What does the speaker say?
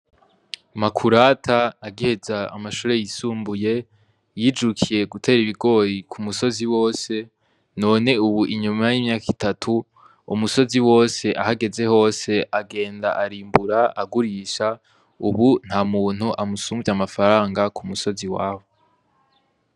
Makurata agiheza amashure yisumbuye yijukiye gutera ibigori ku musozi wose, none ubu inyuma y'imyaka itatu umusozi wose aho ageze hose agenda arimbura agurisha, ubu nta muntu amusuvya amafaranga ku musozi iwabo.